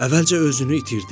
Əvvəlcə özünü itirdi.